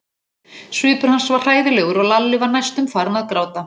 Svipur hans var hræðilegur og Lalli var næstum farinn að gráta.